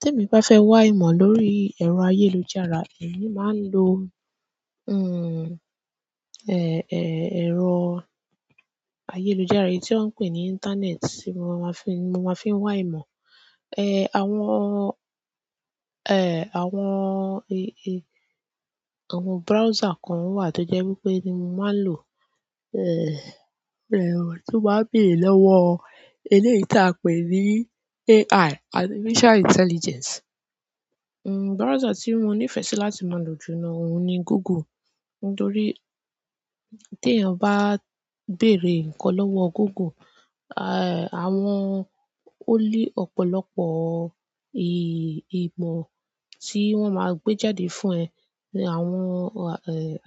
Tí èmi bá fẹ́ wá ìmọ̀ lórí ẹ̀rọ ayélujára, èmi máa ń lo, hmm, eh, eh, ẹ̀rọ ayélujára yìí tí wón ń pè ní íńtánẹ́ẹ̀tì, mo máa fi, mo máa fi ń wá ìmọ̀. Eh, àwọn, eh, àwọn, e, e, àwọn browser kan wà tó jẹ́ wípé ni mo máa ń lò, eh, rẹ̀, tó bá béèrè lọ́wọ́ ilé tí a pè ní AI, artificial intelligence. Hmm, browser tí mo níìfẹ̀ sí láti máa lò jù lọ ní òun ni Google. Nítorí tí èèyàn bá béèrè nǹkan lọ́wọ́ Google, ah, àwọn-- ó ní ọ̀pọ̀lọpọ̀ i, ìmọ̀ tí wọ́n máa gbé jáde fún ẹ. Àwọn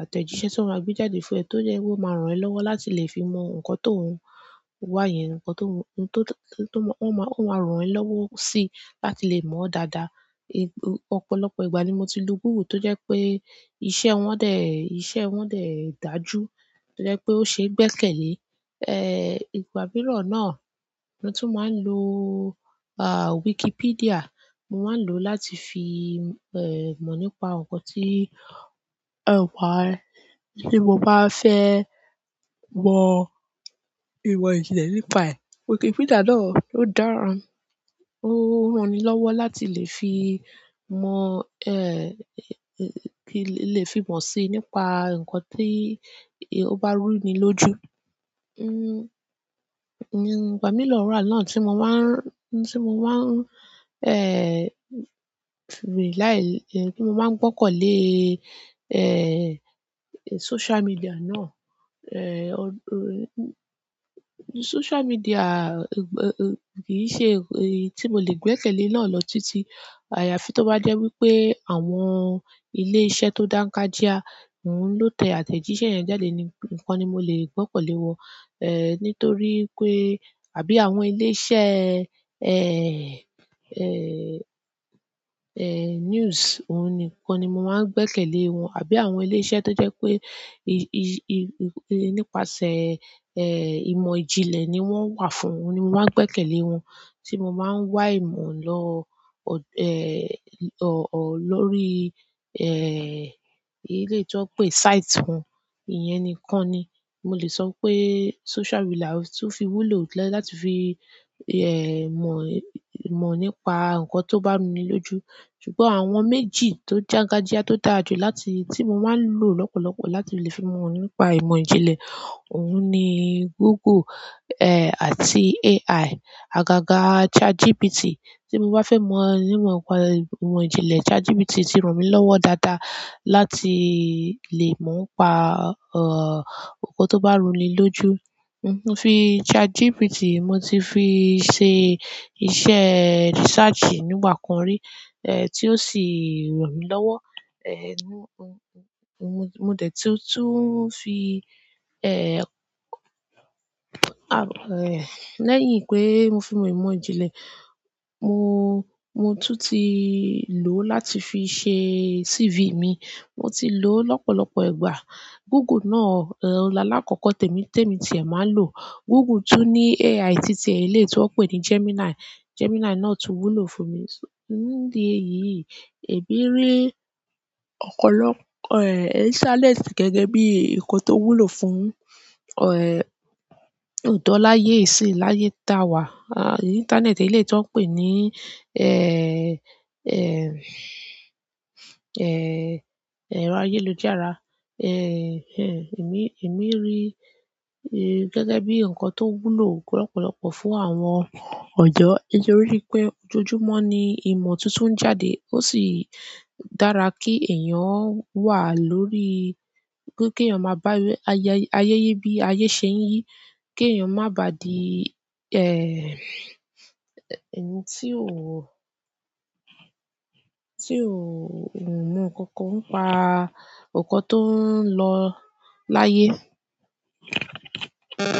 àtẹ̀jíṣẹ́ ti wọn gbe jáde fún e to máa ran e lọwọ láti le fimo nkan ti o wa yen nkan to o maa n ran e lọwọ si láti le mọ dáa daa. Ọ̀pọ̀lọpọ̀ ìgbà ni mo ti lo Google tó jẹ́ pé iṣẹ́ wọn dè, ìṣe wọn dè dájú, tó jẹ́ pé ó ṣe é gbẹ́kẹ̀lé. Eh, ìgbà mìíràn náà ni mo tún máa ń lo, ah, Wikipedia. Mo máa ń lò ó láti fi, eh, mọ̀ nípa nǹkan tí ẹ wá, tí mo bá fẹ́ mọ ìwà ìjìnlẹ̀ nípa ẹ̀. Wikipedia náà o dára o rani lọwọ láti le fi mo e le fi mosi nípa nkan ti o ba ru ni loju. Hmm, ìgbà mìíràn lọ́ọ̀rá náà tí mo máa ń rún, tí mo máa ń, eh, rí láì, tí mo máa ń gbọ́kàn lé, eh, sóṣú medíà náà. Eh, sóṣú medíà kì í ṣe èyí tí mo lè gbẹ́kẹ̀lé náà lọ títí. Àyàfi tó bá jẹ́ wípé àwọn ilé iṣẹ́ tó dáńkájíá ló tẹ àtẹ̀jíṣẹ́ yẹn jáde ni, nǹkan ni mo lè gbọ́kàn lé wọn. Eh, nítorí pé àbí àwọn ilé iṣẹ́, eh, eh, eh, news, òun nìkan ni mo máa ń gbẹ́kẹ̀lé wọn. Àbí àwọn ilé iṣẹ́ tó jẹ́ pé i, i, i, nípasẹ̀, eh, ìmọ̀ ìjìnlẹ̀ ni wọ́n wà fún, òun ni mo máa ń gbẹ́kẹ̀lé wọn. Tí mo máa ń wá ìmọ̀ lọ, eh, lọ́rí, eh, ilé tí wọ́n pè site wọn, ìyẹn nìkan ni mo lè sọ pé sóṣú medíà ló tún fi wúlò jù lọ láti fi, eh, mọ̀, mọ̀ nípa nǹkan tó bá rú mi lójú. Ṣùgbọ́n àwọn méjì tó jágájíá tó dáa jù láti, tí mo máa ń lò lọ́pọ̀lọpọ̀ láti lè fi mọ̀ nípa ìmọ̀ ìjìnlẹ̀, òun ni Google, eh, àti AI. Agaga chatgpt ti mo ba fe mi nípa ìmọ̀ ìjìnlẹ̀ chatgpt ti ran mi lọwọ dáadáa láti le mo n pa oun to ba ru ni loju. Hmm, mo fi ChatGPT, mo ti fi ṣe iṣẹ́ research nígbà kan rí, eh, tí ó sì ràn mí lọ́wọ́. Eh, mo, mo dẹ̀ tún fi, eh, lẹ́yìn pé mo fi mọ ìmọ̀ ìjìnlẹ̀, mo, mo tún ti lò ó láti fi ṣe CV mi. Mo ti lò ó lọ́pọ̀lọpọ̀ ìgbà. Google náà, eh, ó là lákòókò tèmi, tèmi tí èmi máa ń lò. Google tún ní AI títí, eléyìí tí wọ́n pè ní Gemini. Gemini náà tún wúlò fún mi. Ṣé ìdí èyí èyí rí ọ̀pọ̀lọpọ̀, eh, challenge gẹ́gẹ́ bí i nǹkan tó wúlò fún, eh, ọ̀dọ́ láyé yìí síi láyé tá a wà. Intaneti eleyii ti wọn pe e ero ayélujára e. Eh, èmi, èmi rí i gẹ́gẹ́ bí i nǹkan tó wúlò lọ́pọ̀lọpọ̀ fún àwọn ọ̀dọ́. Nítorí pé ojújumọ́ ni ìmọ̀ tuntun ń jáde. Ó sì dára kí èèyàn ó wà lórí, kí èèyàn máa bá a yẹ, ayẹyẹ bí ayé ṣe ń yí, kí èèyàn má ba di, eh, ẹni tí ò, tí ò mọ nkankan pa nǹkan tó ń lọ láyé. Hmm.